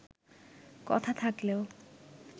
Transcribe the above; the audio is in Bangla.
কথা থাকলেও